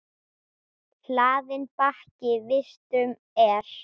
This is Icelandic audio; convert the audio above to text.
Hlaðinn bakki vistum er.